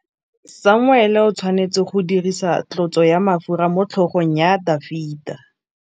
Samuele o tshwanetse go dirisa tlotsô ya mafura motlhôgong ya Dafita.